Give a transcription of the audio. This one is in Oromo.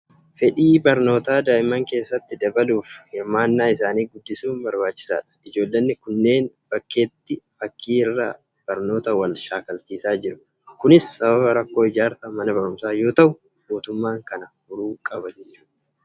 Fedhii barnootaa daa'imman keessatti dabaluuf, hirmaannaa isaanii guddisuun barbaachisaadha. Ijoollonni kunneen bakkeetti fakkii irraa barnoota wal shaakalchiisaa jiru. Kunis sababa rakkoo ijaarsa mana barumsaa yoo ta'u, mootummaan kana furuu qaba!